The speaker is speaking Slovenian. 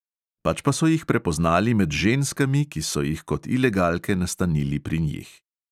Pač pa so jih prepoznali med ženskami, ki so jih kot ilegalke nastanili pri njih.